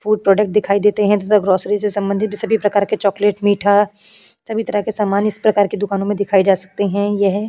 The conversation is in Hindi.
फूड प्रोडक्ट दिखाई देते हैं तथा ग्रॉसरी से संबंधित सभी प्रकार के चॉकलेट मीठा सभी तरह के सामान इस प्रकार के दुकानों में दिखाई जा सकते हैं। यह --